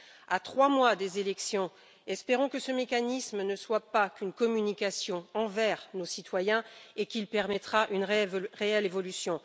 À trois mois des élections, espérons que ce mécanisme ne soit pas qu'une communication envers nos citoyens et qu'il permettra une réelle évolution.